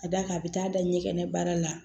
Ka d'a kan a bɛ taa da ɲɛkɛnɛ baara la